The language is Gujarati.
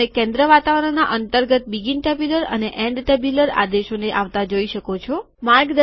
તમે કેન્દ્ર વાતાવરણોના અંતર્ગત બીગીન ટેબ્યુલર શરૂઆતના કોઠા અને એન્ડ ટેબ્યુલર છેવટના કોઠા આદેશોને આવતા જોઈ શકો છો